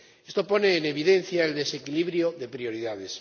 Esto pone en evidencia el desequilibrio de prioridades.